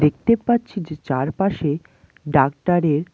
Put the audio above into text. দেখতে পাচ্ছি যে চারপাশে ডাক্তার এর--